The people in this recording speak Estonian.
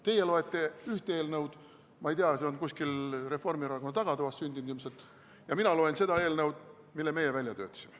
Teie loete ühte eelnõu, ma ei tea, see on ilmselt kuskil Reformierakonna tagatoas sündinud, ja mina loen seda eelnõu, mille meie välja töötasime.